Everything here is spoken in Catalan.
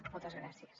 moltes gràcies